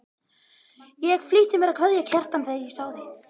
Ég flýtti mér að kveðja Kjartan þegar ég sá þig.